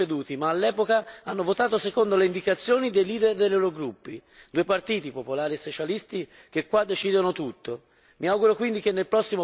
Oggi fortunatamente si sono ricreduti, ma all'epoca hanno votato secondo le indicazioni dei leader dei loro gruppi, due partiti, popolari e socialisti, che qui decidono tutto.